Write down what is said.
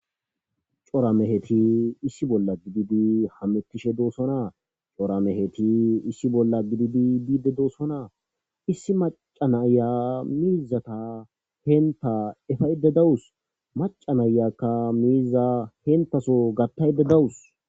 Cora meheti issi bolla gididi hamettishe doosona cora meheti issi bolla gididi biide doosona issi maca naya miizata henta efayde dawus maca nayakka miiza hentaso gattayde dawus.